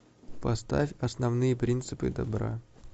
поставь основные принципы добра